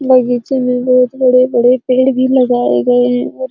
बगीचे में बहुत बड़े-बड़े पेड़ भी लगाए गए है और --